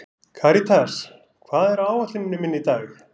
Karítas, hvað er á áætluninni minni í dag?